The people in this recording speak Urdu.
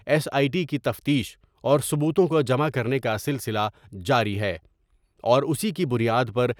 ایس آئی ٹی کی تفتیش اور ثبوتوں کو جمع کرنے کا سلسلہ جاری ہے اور اسی کی بنیاد پر۔